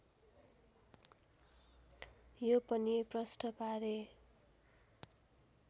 यो पनि प्रष्ट पारे